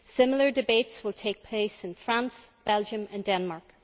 Similar debates will take place in France, Belgium and Demark.